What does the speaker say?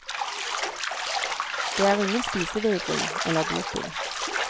Det er ingen spisevegring eller doping.